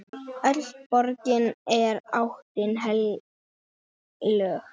Öll borgin er álitin heilög.